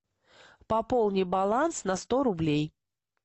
пополни баланс на сто рублей